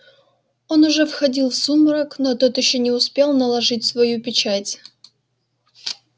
он уже входил в сумрак но тот ещё не успел наложить свою печать